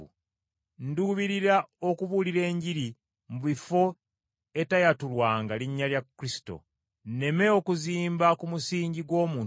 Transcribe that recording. Nduubirira okubuulira Enjiri mu bifo etayatulwanga linnya lya Kristo, nneme okuzimba ku musingi gw’omuntu omulala,